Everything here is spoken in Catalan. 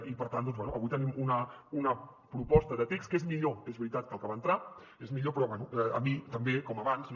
i per tant bé avui tenim una proposta de text que és millor és veritat que el que va entrar és millor però bé a mi també com abans no